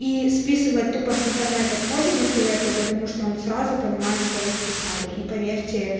ии списывать тупо с интернета тоже не советую потому что он сразу понимает что вы списали и поверьте